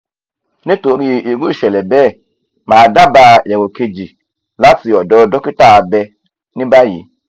nínú irú ìṣẹ̀lẹ̀ bẹ́ẹ̀ mà á dábàá èrò kejì láti ọ̀dọ̀ dókítà abẹ ní báyìí